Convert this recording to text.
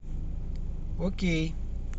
окей